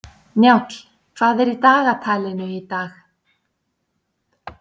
Njáll, hvað er í dagatalinu í dag?